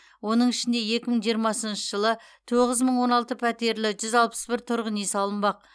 оның ішінде екі мың жиырмасыншы жылы тоғыз мың он алты пәтерлі жүз алпыс бір тұрғын үй салынбақ